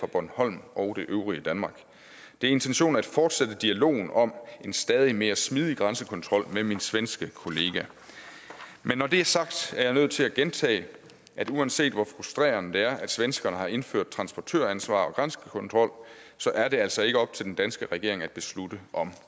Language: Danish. bornholm og det øvrige danmark det er intentionen at fortsætte dialogen om en stadig mere smidig grænsekontrol med min svenske kollega men når det er sagt er jeg nødt til at gentage at uanset hvor frustrerende det er at svenskerne har indført transportøransvar og grænsekontrol så er det altså ikke op til den danske regering at beslutte om